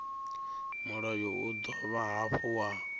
mulayo u dovha hafhu wa